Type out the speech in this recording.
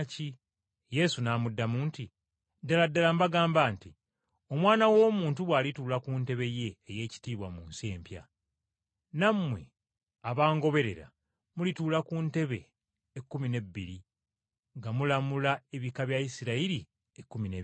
Yesu n’amuddamu nti, “Ddala ddala mbagamba nti, Omwana w’Omuntu bw’alituula ku ntebe ye ey’ekitiibwa mu nsi empya, nammwe abangoberera mulituula ku ntebe ekkumi n’ebbiri nga mulamula ebika bya Isirayiri ekkumi n’ebibiri.